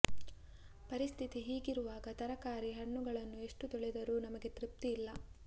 ಪರಿಸ್ಥಿತಿ ಹೀಗಿರುವಾಗ ತರಕಾರಿ ಹಣ್ಣುಗಳನ್ನು ಎಷ್ಟು ತೊಳೆದರೂ ನಮಗೆ ತೃಪ್ತಿ ಇಲ್ಲ